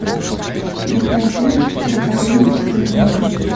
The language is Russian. включай фильм проповедник с пулеметом